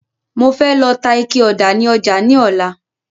Mo fẹ́ lọ ta ike ọ̀dà ni ọjà ní ọlá